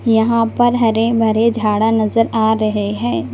यहां पर हरे भरे झाड़ा नजर आ रहे हैं।